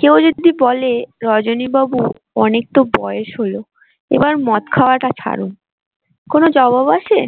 কেউ যদি বলে রজনী বাবু অনেক তো বয়স হলো এবার মদ খাওয়াটা ছাড়ুন কোনো জবাব আছে।